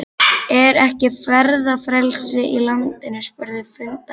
Er ekki ferðafrelsi í landinu? spurðu fundarmenn.